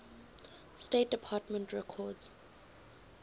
state department records